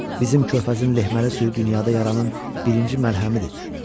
Bizim körfəzin lehməli suyu dünyada yaranın birinci məlhəmidir.